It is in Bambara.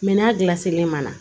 Mɛ n'a gilan selen ma